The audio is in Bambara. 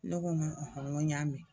Ne ko n ko n ko n y'a mɛn.